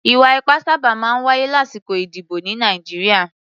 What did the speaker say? Ì̀wà-ipá sábà máa ń wáyé lásìkò ìdìbò ní Nàìjíríà.